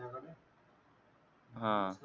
हां.